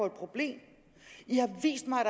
et problem i har vist mig